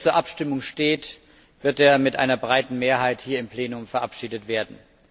So wie er jetzt zur Abstimmung steht, wird er mit einer breiten Mehrheit hier im Plenum verabschiedet werden.